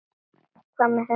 Hvað með þennan stein?